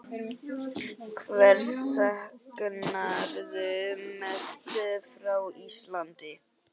Hvers saknarðu mest frá Íslandi?